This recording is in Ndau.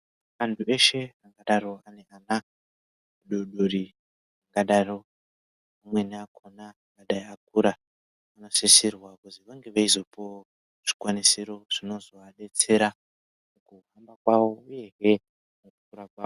Antu eshe angadaro ane ana adodori angadaro amweni akona angadai akura. Anosisirwa kuzi vange eizopuvavo zvikwanisiro zvinozovabetsera mukuhamba kwavo, uyehe mukukura kwavo.